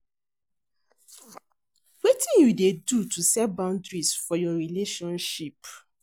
wetin you dey do to set boundaries for your relationship?